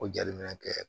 Ko jaliminɛ kɛ